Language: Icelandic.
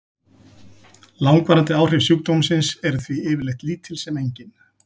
Langvarandi áhrif sjúkdómsins eru því yfirleitt lítil sem engin.